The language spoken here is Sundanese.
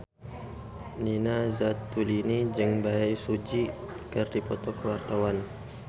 Nina Zatulini jeung Bae Su Ji keur dipoto ku wartawan